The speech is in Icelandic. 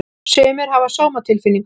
Sumir hafa sómatilfinningu.